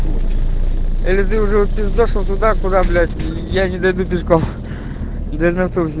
или ты уже упиздошил туда куда блять я не дойду пешком даже на то все